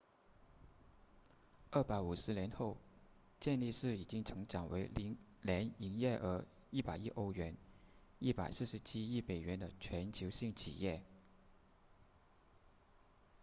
250年后健力士已经成长为年营业额100亿欧元147亿美元的全球性企业